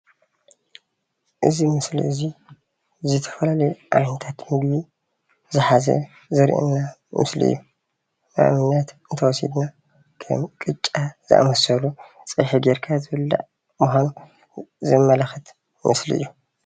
እዚ ምስሊ እዙይ ዝተፈላለዩ ዓይነታት ምግቢ ዝሓዘ ዘርእየና ምስሊ እዩ። ንኣብነት እንተወሲድና ኸም ቅጫ ዝኣመሰሉ ፀብሒ ጌርካ ዝብላዕ ምዃኑ ዘመላክት ምስሊእዩ።